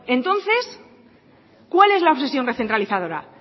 entonces cuál es la obsesión recentralizadora